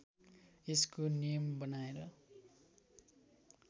यसको नियम बनाएर